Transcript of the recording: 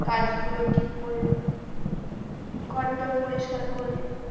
কাজ গুলো ঠিক করলো ঘর টোর পরিষ্কার করলো।